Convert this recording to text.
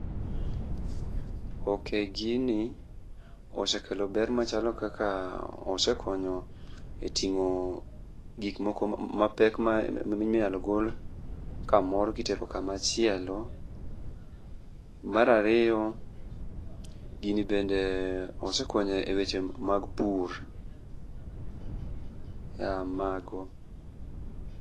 Ok, gini osekelo ber machalo kaka osekonyo e tingo gik moko mapek minyalo gol kamoro kitero kamachielo, mar ariyo, gini bende osekonyo e weche mag pur, ee mago.